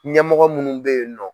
Ɲɛmɔgɔ munnu bɛ yen nɔ.